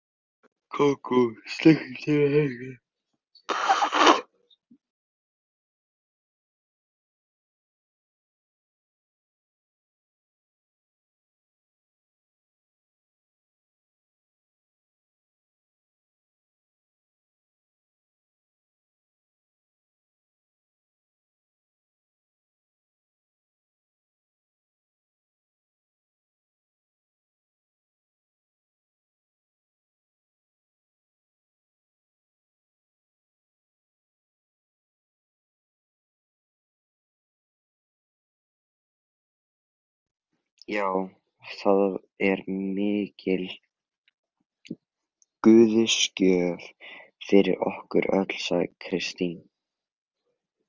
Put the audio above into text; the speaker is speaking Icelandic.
Já, það er mikil guðsgjöf fyrir okkur öll, sagði Kristín.